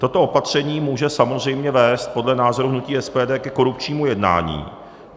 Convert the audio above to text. Toto opatření může samozřejmě vést podle názoru hnutí SPD ke korupčnímu jednání.